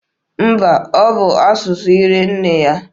Mba, ọ bụ asụsụ ara nne ya.